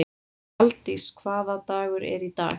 Aldís, hvaða dagur er í dag?